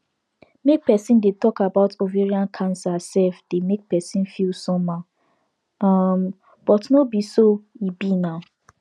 make persin dey talk about ovarian cancer sef dey make persin feel somehow um but no be so e be now